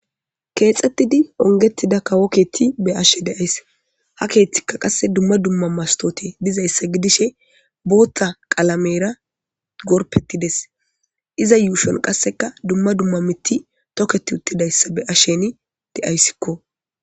Keexeththidi onggeththida kawo keeththi be7ashe de7ays; ha keeththikka qassi dumma dumma masththoothee dizayssi gidishe booththa qalameera gorppeththi des; iza yuushuwan qassikka dumma dumma miththi thokeththi uththidayssa be7asheeni de7aysikoo.